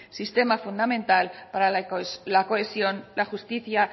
sistema fundamental para la cohesión la justicia